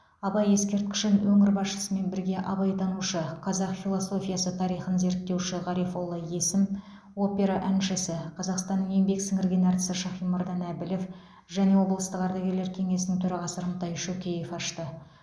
абай ескерткішін өңір басшысымен бірге абайтанушы қазақ философиясы тарихын зерттеуші ғарифолла есім опера әншісі қазақстанның еңбек сіңірген әртісі шахимардан әбілов және облыстық ардагерлер кеңесінің төрағасы рымтай шөкеев ашты